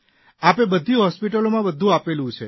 આપે બધી હોસ્પીટલોમાં બધું આપેલું છે